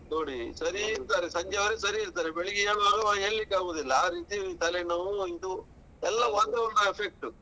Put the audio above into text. ನೋಡಿ ಸರಿ ಇರ್ತರೆ ಸಂಜೆವರೆಗೆ ಸರಿ ಇರ್ತರೆ ಬೆಳಿಗ್ಗೆ ಏಳುವಾಗ ಏಳ್ಲಿಕ್ಕೆ ಆಗುದಿಲ್ಲ ಆ ರೀತಿ ತಲೆ ನೋವು ಇದು ಎಲ್ಲ ವಾತಾವರಣ effect ಟು.